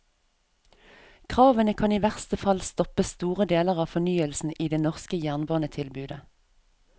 Kravene kan i verste fall stoppe store deler av fornyelsen i det norske jernbanetilbudet.